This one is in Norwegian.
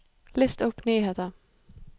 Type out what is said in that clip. list opp nyheter